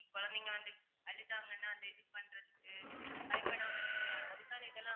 குழந்தைங்க வந்து அழுதாங்கன்னா அதை இது பண்றதுக்கு பயப்படாம இருக்க அதுக்கான இதெல்லாம்